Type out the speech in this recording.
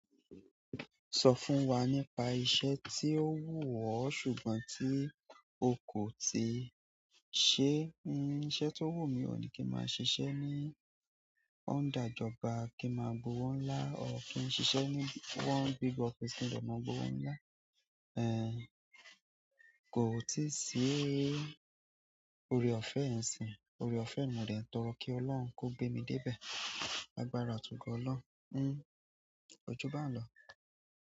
Sọ fún wa nípa iṣẹ́ tí ó wù ọ́ ṣùgbọ́n tí o kò tíì ṣe. Iṣẹ́ tó wù mí náà ní kí n máa ṣiṣẹ́ ní under ìjọba kí ma gba owo ńlá or kí n ṣiṣẹ́ ní one big office ki n de máa gbówó ńlá. Ẹ̀, kò tíì síí. Ore-ọ̀fẹ́ ẹ̀ n sìn, ore-ọ̀fẹ́ ni mo dẹ̀ ń tọrọ kí Ọlọ́run kó gbé mi dé bẹ̀. Lagbàrà àti ogọ olohun. Ẹ kojú ba n lọ.